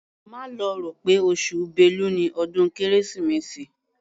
Má lọ rò pé oṣù Bélu ni ọdún Kérésìmesì.